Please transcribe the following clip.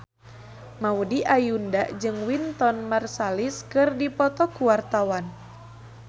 Maudy Ayunda jeung Wynton Marsalis keur dipoto ku wartawan